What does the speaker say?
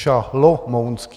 Šalomounský.